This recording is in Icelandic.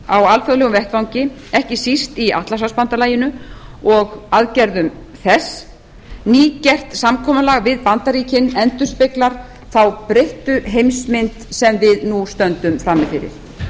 á alþjóðlegum vettvangi ekki síst í atlantshafsbandalaginu og aðgerðum þess nýgert samkomulag við bandaríkin endurspeglar þá breyttu heimsmynd sem við nú stöndum frammi fyrir